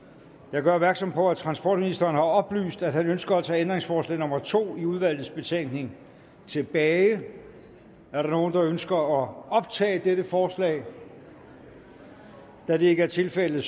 jeg gør opmærksom på at transportministeren har oplyst at han ønsker at tage ændringsforslag nummer to i udvalgets betænkning tilbage er der nogen der ønsker at optage dette forslag da det ikke er tilfældet